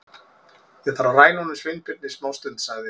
Ég þarf að ræna honum Sveinbirni smástund- sagði